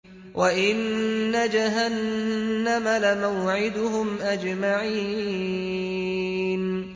وَإِنَّ جَهَنَّمَ لَمَوْعِدُهُمْ أَجْمَعِينَ